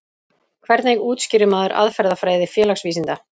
Hvernig útskýrir maður aðferðafræði félagsvísinda?